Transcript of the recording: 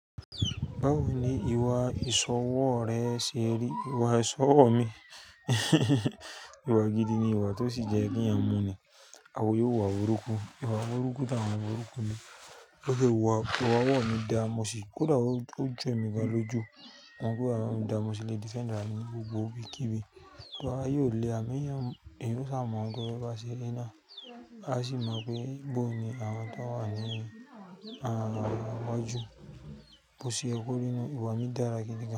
Báwo ni ìwà ìsọwọ́ rẹ ṣe rí? Ìwà ìsọwọ́ mi ìwà gidi ni ìwà tó sì jẹ kí eyan mú ni. Àwọn yóò wà ọrúkọ, ìwà ọrúkọ táwọn ọrúkọ mi. Bi mo se wà, ìwà ọwọ́ mi dáa, mo sì kó dàá ó jo emí gan lójú. Wọn gbọ́ ara mi dáa, mo sì le defend ara mi ní gbogbo ibi kí ibi. Ìwọ a yóò le à mí yan, èyí ó sá mọ́ ẹni bá ṣe iná. A sì mọ̀ pé bó ni àwọn tó wà nínú rẹ̀, àwọn ọjọ́, bo ṣe ye ko ri nu ìwà mi dára gidigan.